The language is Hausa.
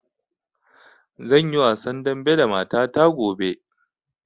Zan yi wasan dambe da mata ta gobe.